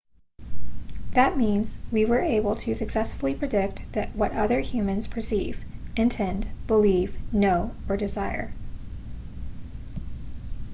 that means we are able to successfully predict what other humans perceive intend believe know or desire